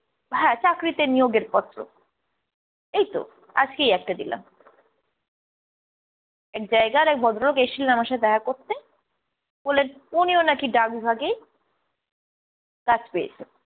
হ্যাঁ, চাকরিতে নিয়োগের পত্র, এইতো আজকেই একটা দিলাম। এক জায়গার এক ভদ্রলোক এসছিলেন আমার সাথে দেখা করতে, বললেন উনিও নাকি ডাক বিভাগেই চাকরি পেয়েছেন।